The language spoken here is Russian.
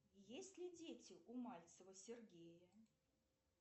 есть ли дети у мальцева сергея